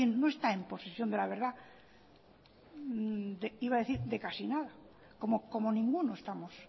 no está en posición de la verdad iba a decir de casi nada como ninguno estamos